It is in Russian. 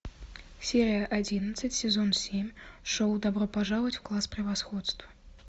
серия одиннадцать сезон семь шоу добро пожаловать в класс превосходства